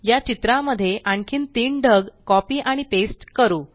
या चित्रा मध्ये आणखीन तीन ढग कॉपी आणि पेस्ट करू